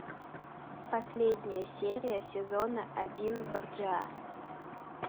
последняя серия сезона один борджиа